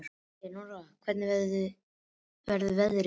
Leónóra, hvernig verður veðrið á morgun?